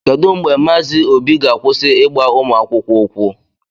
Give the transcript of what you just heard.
Kedu mgbe Mazi obi ga-akwụsị ịgba ụmụ akwụkwọ ukwu?